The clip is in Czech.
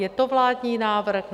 Je to vládní návrh?